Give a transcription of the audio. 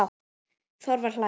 Þorvar hlær.